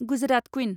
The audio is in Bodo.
गुजरात कुइन